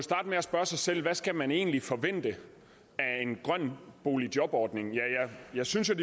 med at spørge sig selv hvad skal man egentlig forvente af en grøn boligjobordning ja jeg synes jo